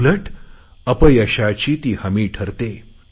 उलट अपयशाची ही हमी ठरते